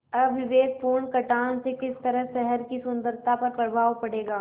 अविवेकपूर्ण कटान से किस तरह शहर की सुन्दरता पर प्रभाव पड़ेगा